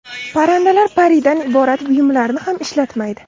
Parrandalar paridan iborat buyumlarni ham ishlatmaydi.